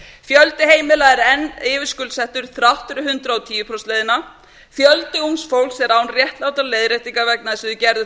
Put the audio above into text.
fjöldi heimila er enn yfirskuldsettur þrátt fyrir hundrað og tíu prósenta leiðina fjöldi ungs fólks er án réttlátrar leiðréttingar vegna þess að þau gerðu